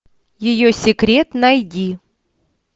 ее секрет найди